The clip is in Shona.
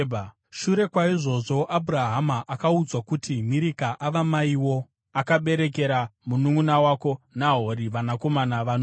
Shure kwaizvozvo, Abhurahama akaudzwa kuti, “Mirika ava maiwo; akaberekera mununʼuna wako Nahori vanakomana vanoti: